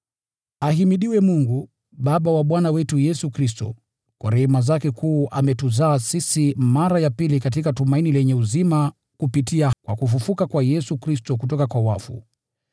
Ahimidiwe Mungu, Baba wa Bwana wetu Yesu Kristo! Kwa rehema zake kuu ametuzaa sisi mara ya pili katika tumaini lenye uzima kupitia kwa kufufuka kwa Yesu Kristo kutoka kwa wafu,